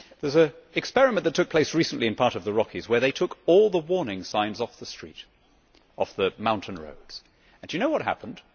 There is an experiment that took place recently in part of the Rocky Mountains where they took all the warning signs off the mountain roads. Do you know what happened?